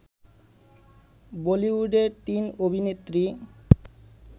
বলিউডের তিন অভিনেত্রী